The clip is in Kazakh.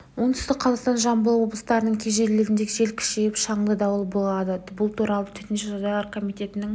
оңтүстік қазақстан жамбыл облыстарының кей жерлерінде жел күшейіп шаңды дауыл болады бұл туралы төтенше жағдайлар комитетінің